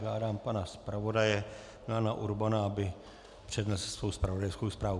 Žádám pana zpravodaje Milana Urbana, aby přednesl svou zpravodajskou zprávu.